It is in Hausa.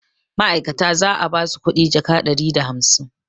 ma'aikatan za a ba su kuɗi jaka ɗari da hamsain